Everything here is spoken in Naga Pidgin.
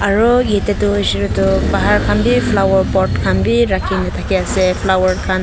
aro yete toh hoishe koileto bahar khanbi flower pot khan bi rakhikena dakhi ase flower khan.